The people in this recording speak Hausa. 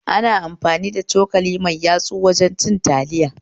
Ana amfani da cokali mai yatsu wajen cin taliya